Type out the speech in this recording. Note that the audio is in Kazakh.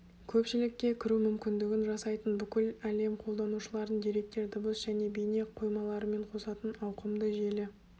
көпшілікке кіру мүмкіндігін жасайтын бүкіл әлем қолданушыларын деректер дыбыс және бейне қоймаларымен қосатын ауқымды желі